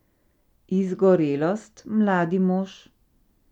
Izgorelost, mladi mož?